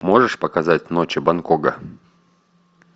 можешь показать ночи бангкока